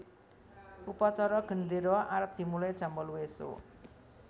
Upacara gendero arep dimulai jam wolu isuk